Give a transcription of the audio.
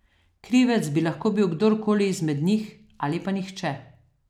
Krivec bi lahko bil kdorkoli izmed njih, ali pa nihče.